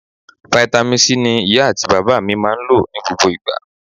Vitamin C ni iya ati baba mi maa n lo ni gbogbo igba.